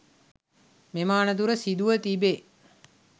මෙම අනතුර සිදුව තිබේ